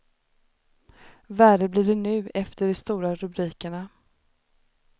Värre blir det nu efter de stora rubrikerna.